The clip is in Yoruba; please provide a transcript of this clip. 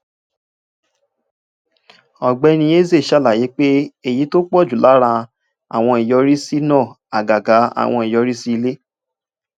ògbéni eze ṣàlàyé pé èyí tó pọ jù lára àwọn ìyọrísí náà àgàgà àwọn ìyọrísí ilé